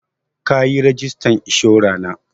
Ka yi rajistan inshora na.